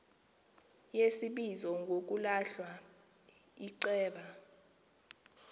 yesibizo ngokulahla iceba